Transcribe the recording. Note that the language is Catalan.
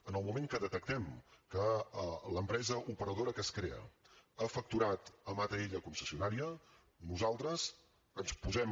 en el moment que detectem que l’empresa operadora que es crea ha facturat amb atll concessionària nosaltres ens posem